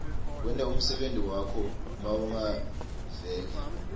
kwenta umsebenti wakho mawungaveka